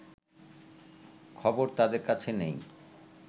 খবর তাদের কাছে নেই